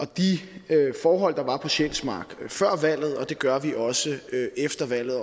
de forhold der var på sjælsmark før valget og det gør vi også efter valget